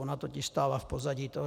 Ona totiž stála v pozadí toho.